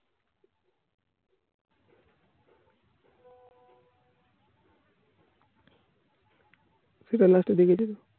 সেটা last এ দেখছে